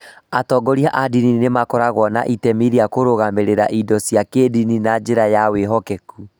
Atongoria a ndini makoragwo na itemi rĩa kũrũgamĩrĩra indo cia kĩĩndini na njĩra ya kwĩhokeka.